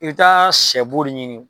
I bɛ taa sɛbo de ɲini